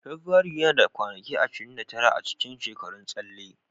Fabrairu yana da kwanaki ashirin da tara a cikin shekarun tsalle.